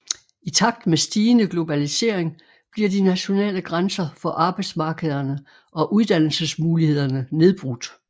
I takt med stigende globalisering bliver de nationale grænser for arbejdsmarkederne og uddannelsesmulighederne nedbrudt